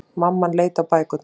Mamman leit á bækurnar.